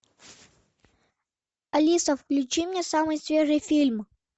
алиса включи мне самый свежий фильм